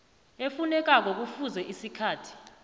efunekako kufuze isikhathi